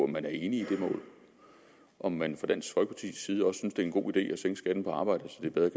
man er enig i det mål om man fra dansk folkepartis side også synes det er en god idé at sænke skatten på arbejde så det bedre